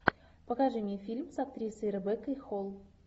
покажи мне фильм с актрисой ребеккой холл